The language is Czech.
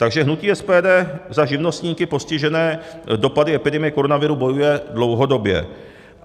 Takže hnutí SPD za živnostníky postižené dopady epidemie koronaviru bojuje dlouhodobě.